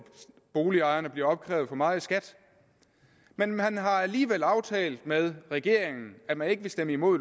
boligejerne bliver opkrævet for meget i skat men man har alligevel aftalt med regeringen at man ikke vil stemme imod